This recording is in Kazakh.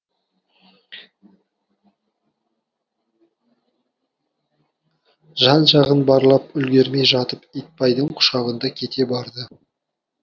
жан жағын барлап үлгермей жатып итбайдың құшағында кете барды